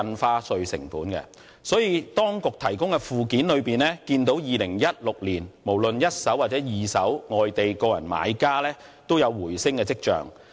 因此，從當局提供的附件可見，在2016年，無論是一手或二手住宅物業交易，外地個人買家的比例均有回升跡象。